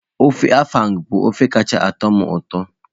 Ofe Afang bụ ofe kacha atọ m ụtọ.